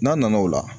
N'a nana o la